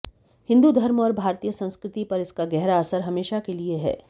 हिंदू धर्म और भारतीय संस्कृति पर इसका गहरा असर हमेशा के लिए है